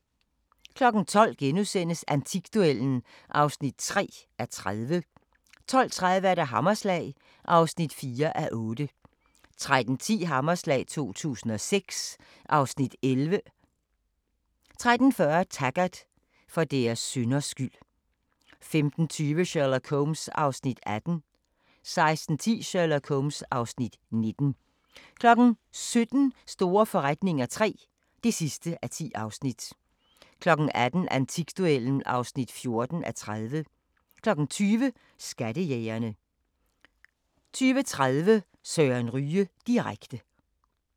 12:00: Antikduellen (3:30)* 12:30: Hammerslag (4:8) 13:10: Hammerslag 2006 (Afs. 11) 13:40: Taggart: For deres synders skyld 15:20: Sherlock Holmes (Afs. 18) 16:10: Sherlock Holmes (Afs. 19) 17:00: Store forretninger III (10:10) 18:00: Antikduellen (14:30) 20:00: Skattejægerne 20:30: Søren Ryge direkte